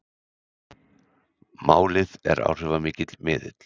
Málið er áhrifamikill miðill